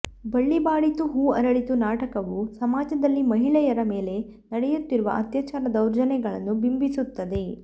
ಬಳ್ಳಿ ಬಾಡಿತು ಹೂ ಅರಳಿತು ನಾಟಕವು ಸಮಾಜದಲ್ಲಿ ಮಹಿಳೆಯರ ಮೇಲೆ ನಡೆಯುತ್ತಿರುವ ಅತ್ಯಾಚಾರ ದೌರ್ಜನ್ಯಗಳನ್ನು ಬಿಂಬಿಸುತ್ತದೆ